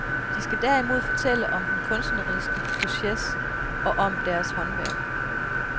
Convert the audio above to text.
De skal derimod fortælle om den kunstneriske proces og om deres håndværk.